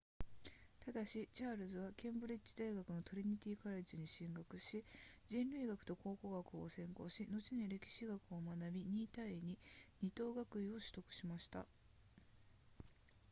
ただしチャールズはケンブリッジ大学のトリニティカレッジに進学し人類学と考古学を専攻し後に歴史学を学び 2:22 等学位を取得しました